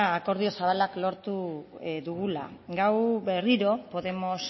akordio zabala lortu dugula gaur berriro podemos